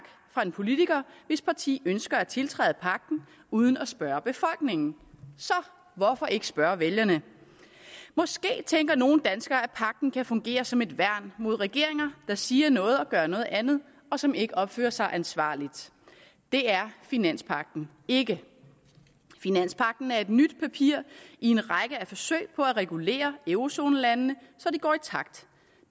fra en politiker hvis parti ønsker at tiltræde pagten uden at spørge befolkningen så hvorfor ikke spørge vælgerne måske tænker nogle danskere at pagten kan fungere som et værn mod regeringer der siger noget men gør noget andet og som ikke opfører sig ansvarligt det er finanspagten ikke finanspagten er et nyt papir i en række forsøg på at regulere eurozonelandene så de går i takt